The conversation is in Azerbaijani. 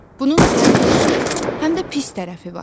Bunun həm yaxşı, həm də pis tərəfi var.